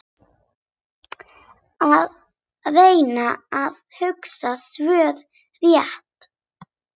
Að reyna að hugsa rökrétt